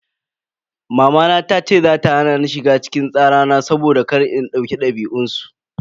Mamana tace za ta hana ni shiga cikin tsara na saboda kar in dauki dabi'un su.